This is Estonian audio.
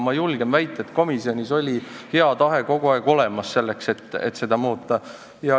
Ma julgen väita, et komisjonis oli kogu aeg olemas hea tahe, et seda muuta.